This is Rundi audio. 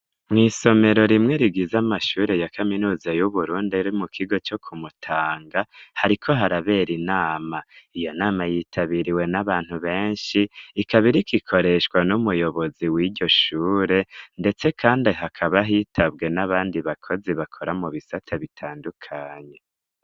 Mw'isomero rimwe rigiza amashure ya kaminuza y'uburunde ri mu kigo co kumutanga hariko harabera inama iyo nama yitabiriwe n'abantu benshi ikabirika ikoreshwa n'umuyobozi w'iryo shure, ndetse, kandi hakaba hitabwe n'abandi bakozi bakora mu bisate bitandukanye.